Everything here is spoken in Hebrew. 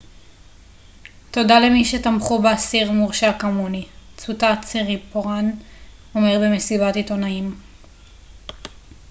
תודה למי שתמכו באסיר מורשע כמוני צוטט סיריפורן אומר במסיבת עיתונאים